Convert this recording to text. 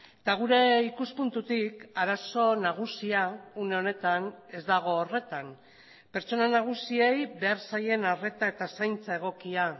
eta gure ikuspuntutik arazo nagusia une honetan ez dago horretan pertsona nagusiei behar zaien arreta eta zaintza egokia